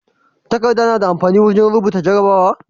Takadda nada amfani wajan rubuta jarabawa?